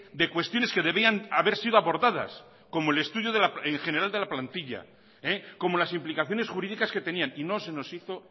de cuestiones que debían haber sido abordadas como el estudio en general de la plantilla como las implicaciones jurídicas que tenían y no se nos hizo